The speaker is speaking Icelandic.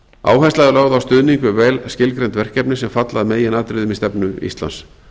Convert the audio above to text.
áhersla er lögð á stuðning við vel skilgreind verkefni sem falla að meginatriðum í stefnu íslands